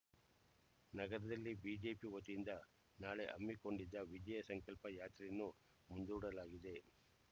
ನಗರದಲ್ಲಿ ಬಿಜೆಪಿ ವತಿಯಿಂದ ನಾಳೆ ಹಮ್ಮಿಕೊಂಡಿದ್ದ ವಿಜಯ ಸಂಕಲ್ಪ ಯಾತ್ರೆಯನ್ನು ಮುಂದೂಡಲಾಗಿದೆ